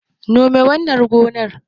Nome wannan gonar